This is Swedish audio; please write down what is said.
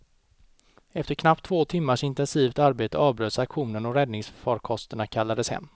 Efter knappt två timmars intensivt arbete avbröts aktionen och räddningsfarkosterna kallades hem.